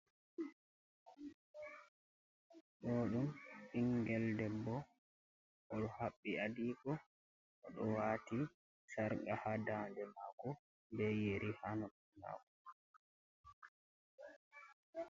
Ɗo dum ɓingel debbo, oɗo habbi adigo, oɗo wati sarqa ha ndande mako be yeri ha noppi mako.